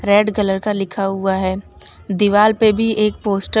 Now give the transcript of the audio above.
red colour का लिखा हुआ है दीवाल पे भी एक पोस्टर --